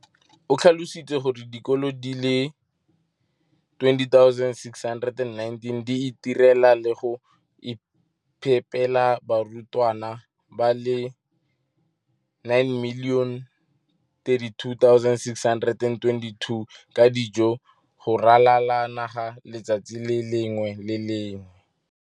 o tlhalositse gore dikolo di le 20 619 di itirela le go iphepela barutwana ba le 9 032 622 ka dijo go ralala naga letsatsi le lengwe le le lengwe.